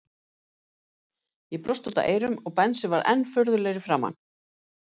Ég brosti út að eyrum og Benni varð enn furðulegri í framan.